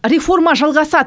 реформа жалғасады